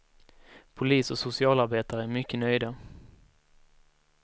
Polis och socialarbetare är mycket nöjda.